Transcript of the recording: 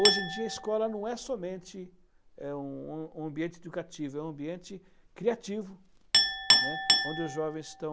Hoje em dia a escola não é somente é um um ambiente educativo, é um ambiente criativo, né, onde os jovens estão